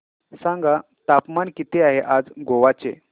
सांगा तापमान किती आहे आज गोवा चे